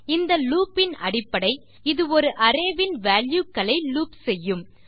இந்த லூப் இன் அடிப்படை இது ஒரு அரே வின் வால்யூ களை லூப் செய்யும்